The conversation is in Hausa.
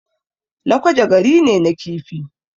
Lakwaja gari ne na kifi